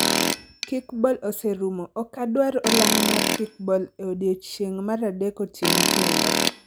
Kickball oserumo, ok adwar olang' mar kickball e odiechieng' mar adek otieno kendo